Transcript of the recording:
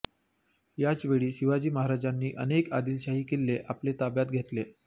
याच वेळी शिवाजी महाराजांनी अनेक आदिलशाही किल्ले आपल्या ताब्यात घेतले